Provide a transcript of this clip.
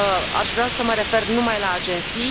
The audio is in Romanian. Aș vrea să mă refer numai la agenții.